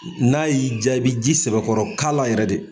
N'a y'i jaabi ji sɛbɛkɔrɔ kala yɛrɛ dɛ.